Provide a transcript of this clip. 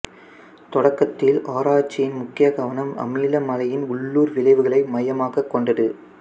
தொடக்கத்தில் ஆராய்ச்சியின் முக்கிய கவனம் அமில மழையின் உள்ளூர் விளைவுகளை மையமாகக் கொண்டது